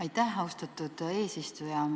Aitäh, austatud eesistuja!